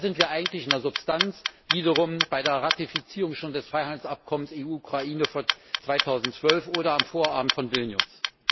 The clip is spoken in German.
Da sind wir eigentlich in der Substanz wiederum bei der Ratifizierung schon des Freihandelsabkommens EU Ukraine von 2012 oder am Vorabend von Vilnius.